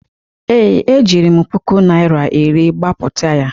ee, ejiri m puku naira iri gbapụta ya